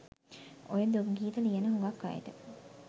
ඔය දුක් ගීත ලියන හුඟක් අයට